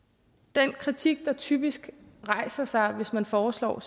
den kritik der typisk rejser sig hvis man foreslår